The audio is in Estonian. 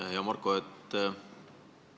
Hea Marko!